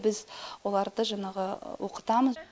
біз оларды жаңағы оқытамыз